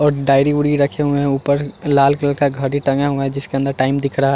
और डायरी वूरी रखे हुए हैं ऊपर लाल कलर का घड़ी टंगा हुआ है जिसके अंदर टाइम दिख रहा है।